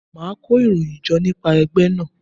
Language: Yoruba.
Màá kó ìròyìn jọ nípa ẹgbẹ́ náà.